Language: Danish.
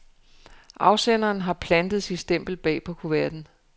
Afsenderen har plantet sit stempel bag på kuverten.